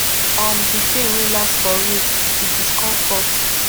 um di pain wey last for weeks di discomfort